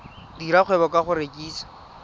dira kgwebo ka go rekisa